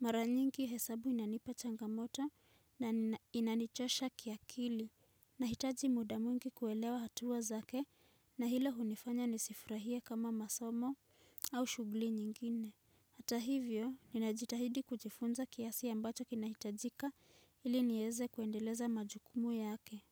mara nyingi hesabu inanipa changamoto na inanichosha kiakili. Nahitaji muda mwingi kuelewa hatua zake. Na hilo hunifanya nisifurahie kama masomo au shughli nyingine. Hata hivyo, ninajitahidi kujifunza kiasi ambacho kinahitajika ili nieze kuendeleza majukumu yake.